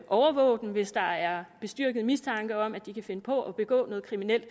overvåge dem hvis der er bestyrket mistanke om at de kan finde på at begå noget kriminelt